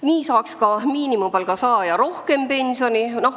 Nii saaks ka miinimumpalga saaja rohkem pensioni.